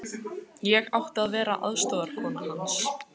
Ég átti að vera aðstoðarkona hans.